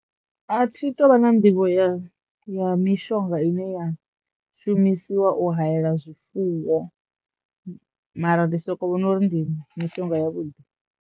A thi tou vha na nḓivho ya ya mishonga ine ya shumisiwa u hayela zwifuwo mara ndi soko vhona uri ndi mitengo ya vhuḓi.